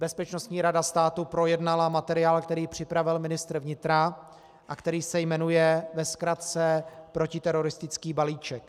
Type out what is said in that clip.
Bezpečnostní rada státu projednala materiál, který připravil ministr vnitra a který se jmenuje ve zkratce protiteroristický balíček.